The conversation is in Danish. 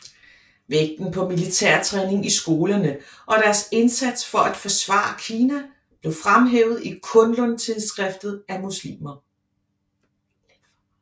Vægten på militær træning i skolerne og deres indsats for at forsvare Kina blev fremhævet i Kunlun tidsskriftet af muslimer